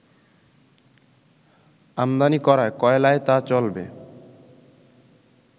আমদানি করা কয়লায় তা চলবে